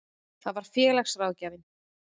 Það var félagsráðgjafinn.